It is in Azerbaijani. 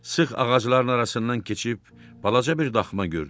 Sıx ağacların arasından keçib balaca bir daxma gördü.